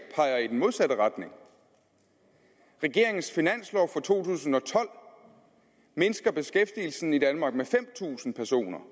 peger i den modsatte retning regeringens finanslov for to tusind og tolv mindsker beskæftigelsen i danmark med fem tusind personer